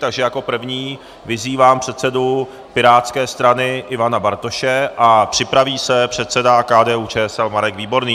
Takže jako první vyzývám předsedu pirátské strany Ivana Bartoše a připraví se předseda KDU-ČSL Marek Výborný.